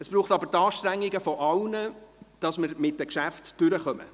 Es braucht aber die Anstrengungen aller, damit wir mit den Geschäften durchkommen.